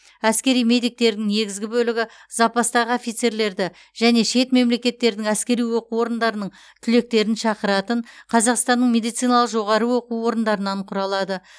әскери медиктердің негізгі бөлігі запастағы офицерлерді және шет мемлекеттердің әскери оқу орындарының түлектерін шақыратын қазақстанның медициналық жоғары оқу орындарынан құралады